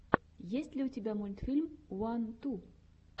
есть ли у тебя мультфильм уан ту